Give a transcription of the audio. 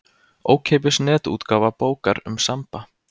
Ókeypis netútgáfa bókar um Samba.